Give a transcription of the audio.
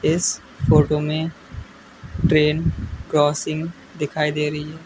इस फोटो में train crossing दिखाई दे रही है।